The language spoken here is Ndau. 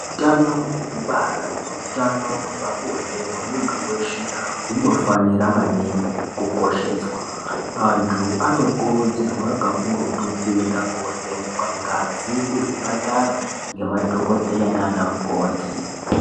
Utano hwekubara neutano hwepabonde hwemuntu weshe hunofanira maningi kukosheswa. Antu anokurudzirwa kakurutu kuenda kovhenekwa ngazi kuzvipatara ngemadhokodheya nanamukoti.